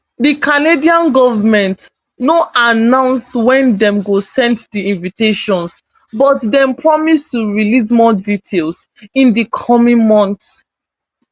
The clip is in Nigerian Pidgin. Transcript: di canadian goment no announce wen dem go send di invitations but dem promise to release more details in di coming months